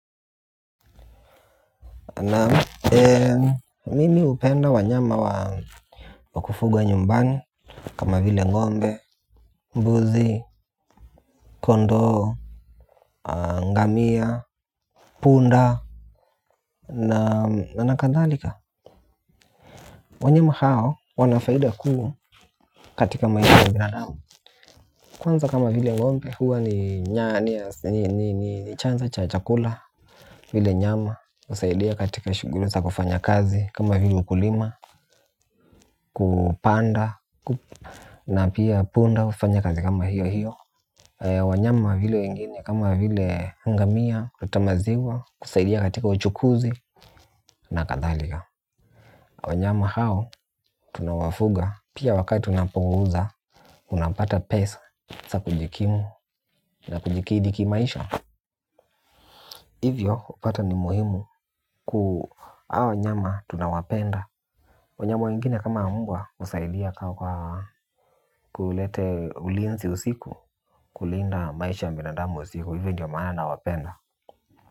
Na mimi hupenda wanyama wakufuga nyumbani. Kama vile ngombe, mbuzi, kondoo, ngamia, punda na nakadhalika wanyama hao wana faida kubwa katika maisha ya binadamu kwanza kama vile n'gombe huwa ni chanzo cha chakula vile nyama husaidia katika shughuli za kufanya kazi kama vile ukulima, kupanda. Na pia punda hufanya kazi kama hiyo hiyo. Wanyama vile wengine kama vile ngamia kutamaziwa kusaidia katika uchukuzi na kadhalika wanyama hao tunawafuga pia wakati tunapouza unapata pesa za kujikimu na kujikidhi kimaisha. Hivyo hupata ni muhimu ku ao wanyama tunawapenda. Wanyama wengine kama mbwa husaidia ka kwa kulete ulinzi usiku. Kulinda maisha ya mbinadamu usiku hivyo ndio maana na wapenda.